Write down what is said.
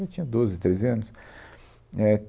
Eu tinha doze, treze anos. É